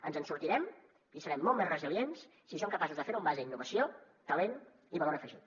ens en sortirem i serem molt més resilients si som capaços de fer ho en base a innovació talent i valor afegit